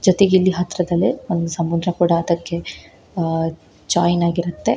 ಜೊತೆಗೆ ಇಲ್ಲಿ ಹತ್ರದಲ್ಲೆ ಒಂದ ಸಮುದ್ರ ಕೂಡ ಅದಕ್ಕೆ ಅಹ್ ಜೋಯಿನ್ ಆಗಿರುತ್ತೆ.